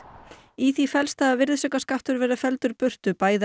í því felst að virðisaukaskattur verður felldur burt af bæði